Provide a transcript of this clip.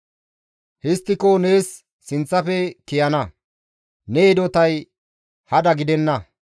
Histtiko nees sinththafe kiyana; ne hidotay hada gidenna.